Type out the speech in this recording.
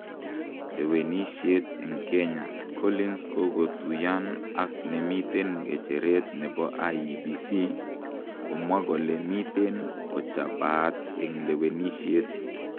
Lewenishet en kenya,:Collins kokotuyan ak nemiten gejeret nepo IEBC ,komwa kole miten kochapaat en lewenishet